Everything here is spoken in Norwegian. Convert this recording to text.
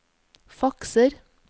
fakser